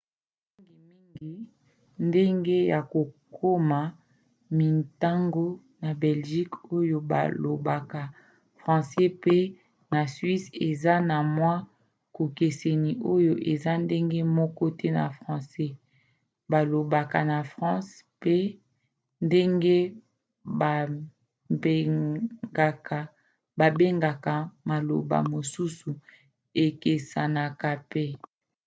mingimingi ndenge ya kokoma mintango na belgique oyo balobaka francais pe na suisse eza na mwa bokeseni oyo eza ndenge moko te na francais balobaka na france pe ndenge babengaka maloba mosusu ekesanaka mpe